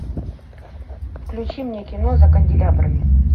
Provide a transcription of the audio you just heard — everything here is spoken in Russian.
включи мне кино за канделябрами